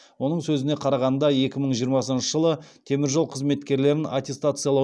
оның сөзіне қарағанда екі мың жиырмасыншы жылы теміржол қызметкерлерін аттестациялау